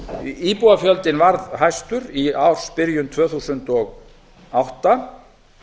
íbúafjöldinn varð hæstur í ársbyrjun tvö þúsund og átta